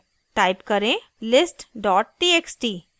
type करें: